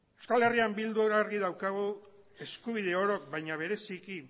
eh bildun argi daukagu eskubide orok baina bereziki